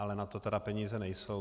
Ale na to tedy peníze nejsou.